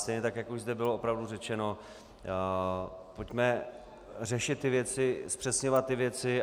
Stejně tak jak už zde bylo opravdu řečeno, pojďme řešit ty věci, zpřesňovat ty věci.